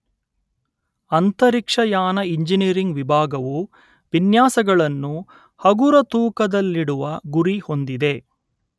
ಅಂತರಿಕ್ಷಯಾನ ಇಂಜಿನಿಯರಿಂಗ್ ವಿಭಾಗವು ವಿನ್ಯಾಸಗಳನ್ನು ಹಗುರತೂಕದಲ್ಲಿಡುವ ಗುರಿ ಹೊಂದಿದೆ